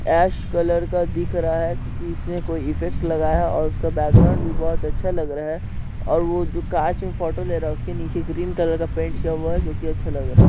ऐश colour का दिख रहा है क्युकी इसने कोई इफ़ेक्ट लगाया हैऔर उसका बैकग्राउंड भी बहुत अच्छा लग रहा है और वो जो कांच मे फोटो ले रहा है उसके निचे ग्रीन कलर का पेंट किया हुआ है जो की अच्छा लग रहा है।